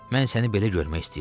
Mən səni belə görmək istəyirdim.